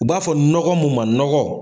U b'a fɔ nɔgɔ mun ma nɔgɔ